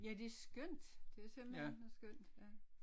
Ja det er skønt det er simpelthen så skønt ja